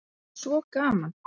Það er svo gaman.